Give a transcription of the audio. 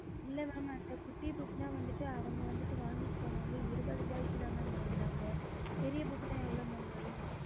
இல்ல mam அந்த குட்டி book அவங்க வந்து வாங்கிட்டு போனது இருபது ரூபாதா சொன்னாங்க பெரிய book எவ்ளோ வாரும்